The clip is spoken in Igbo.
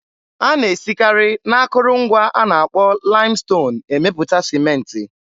A na-esikarị n'akụrụngwa a na-akpọ laịmston emepụta Sịmentị.